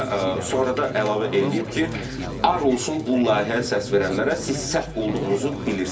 və sonra da əlavə eləyib ki, ar olsun bu layihəyə səs verənlərə, siz səhv olduğunuzu bilirsiniz.